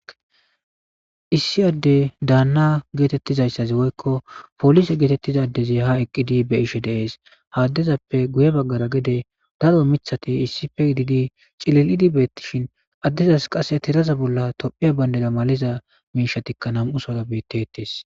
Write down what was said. Issi addey daanna geetettizayssazi woykko polise geetettizadezi ha eqqidi be ishe deees haaddezappe guye baggara gede daro mithati issife gidigi cili'idi beettishin addizas qasse tiraza bolla tophiya bayndera maliza miisha tikka nam'u sora bettetees.